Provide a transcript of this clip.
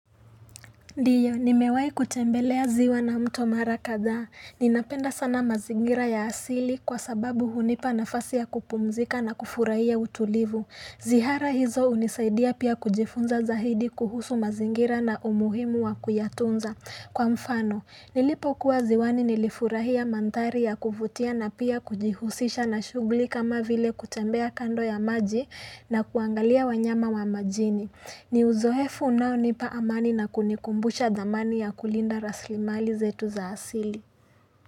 Ndio, nimewahi kutembelea ziwa na mto mara kadhaa, ninapenda sana mazingira ya asili kwa sababu hunipa nafasi ya kupumzika na kufurahia utulivu. Ziara hizo hunisaidia pia kujifunza zaidi kuhusu mazingira na umuhimu wa kuyatunza. Kwa mfano Nilipokuwa ziwani nilifurahia mandhari ya kuvutia na pia kujihusisha na shughuli kama vile kutembea kando ya maji na kuangalia wanyama wa majini. Ni uzoefu unaonipa amani na kunikumbusha thamani ya kulinda rasilimali zetu za asili.